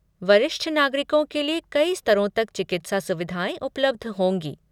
वरिष्ठ नागरिकों के लिए कई स्तरों तक चिकित्सा सुविधाएं उपलब्ध होंगी।